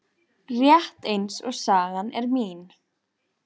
Rétt eins og sagan er mín.